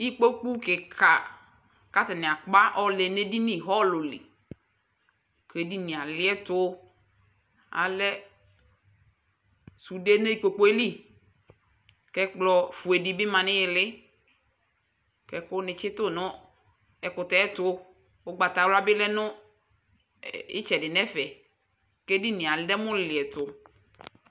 Ikpoku kika k'atani akpa yɔ lɛ n'edini hɔlu lɩ k'edini aliɛtu Alɛ sude n'ikpokue lɩ, k'ɛkplɔ fue di bi ma n'ilɩ, k'ɛku ni tsitu nu ɛkutɛ 'tu Ugbata wla bi lɛ nu ɛ itsɛdi n'ɛfe k'edinie adɛmu liɛtu